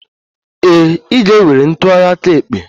Ee, ị ga-ewere ntụgharị aka ekpe.